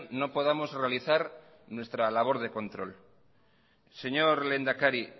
no podamos realizar nuestra labor de control señor lehendakari